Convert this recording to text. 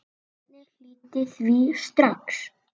Bjarni hlýddi því strax.